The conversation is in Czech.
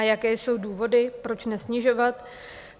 A jaké jsou důvody, proč nesnižovat?